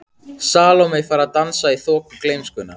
Salóme fær að dansa í þoku gleymskunnar.